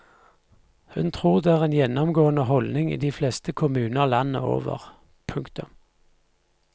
Hun tror det er en gjennomgående holdning i de fleste kommuner landet over. punktum